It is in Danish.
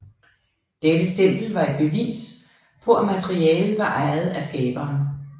Dette stempel var et bevis på at materialet var ejet af skaberen